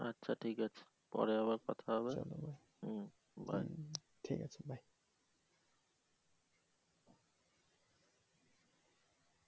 আচ্ছা ঠিক আছে পরে আবার কথা হবে bye